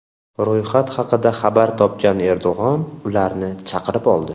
Ro‘yxat haqida xabar topgan Erdo‘g‘on ularni chaqirib oldi.